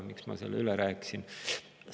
Miks ma selle üle rääkisin?